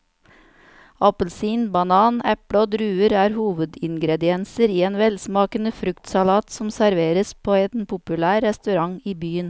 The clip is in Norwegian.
Appelsin, banan, eple og druer er hovedingredienser i en velsmakende fruktsalat som serveres på en populær restaurant i byen.